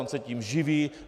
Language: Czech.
On se tím živí.